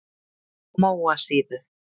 Móasíðu